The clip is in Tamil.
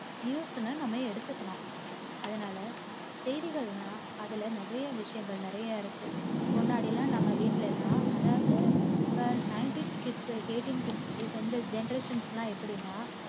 news னு நம்ம எடுத்துக்கணும். அதனால செய்திகள்ன்னா அதுல நிறயை விசயங்கள் நிறயை இருக்கு. முன்னாடியெல்லாம் நம்ம வீட்டிலையெல்லாம் அதாவது இப்ப ninetys kids eightys kids இந்த generations எல்லாம் எப்படின்னா